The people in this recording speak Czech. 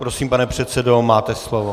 Prosím, pane předsedo, máte slovo.